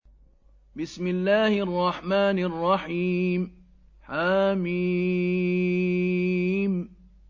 حم